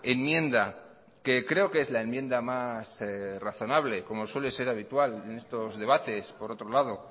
enmienda que creo que es la enmienda más razonable como suele ser habitual en estos debates por otro lado